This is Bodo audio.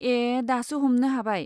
ए, दासो हमनो हाबाय।